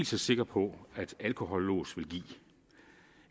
så sikker på at et alkohollås vil give